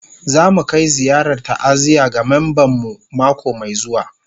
Za mu kai ziyarar ta'aziyya ga memban mu mako mai zuwa